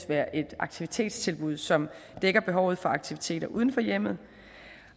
være et aktivitetstilbud som dækker behovet for aktiviteter uden for hjemmet